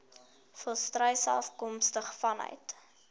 volstruise afkomstig vanuit